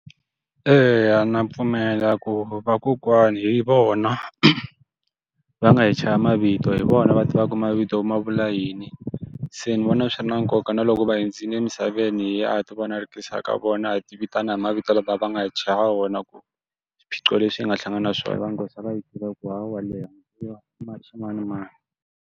Eya, na pfumela ku vakokwana hi vona va nga hi thya mavito hi vona va tivaka mavito ma vula yini. Se ni vona swi ri na nkoka na loko va hundzile emisaveni hi ya hi ti vonakarisa ka vona hi ti vitana hi mavito lama va nga hi thya wona na ku. xiphiqo lexi hi nga hlangana na xona va ngotlisa va yi tiva ku hawa leyi swimanimani.